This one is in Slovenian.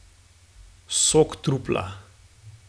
Sok trupla.